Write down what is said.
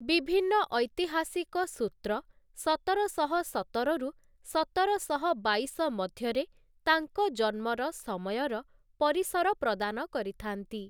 ବିଭିନ୍ନ ଐତିହାସିକ ସୂତ୍ର ସତରଶହ ସତରରୁ ସତରଶହ ବାଇଶ ମଧ୍ୟରେ ତାଙ୍କ ଜନ୍ମର ସମୟର ପରିସର ପ୍ରଦାନ କରିଥାନ୍ତି ।